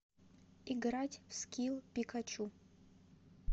играть в скилл пикачу